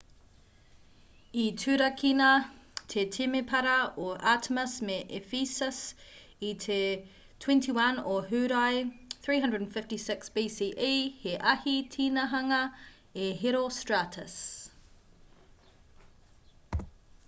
i turakina te temepara o artemis me ephesus i te 21 o hūrae 356 bce he ahi tinihanga a herostratus